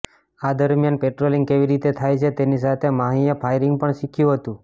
આ દરમિયાન પેટ્રોલિંગ કેવી રીતે થાય છે તેની સાથે માહીએ ફાયરિંગ પણ શીખ્યું હતું